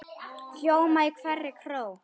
hljóma í hverri kró.